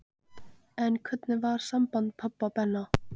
En hvernig var samband pabba og Benna?